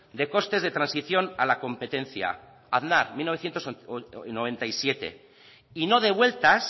de costes de transición a la competencia aznar mil novecientos noventa y siete y no devueltas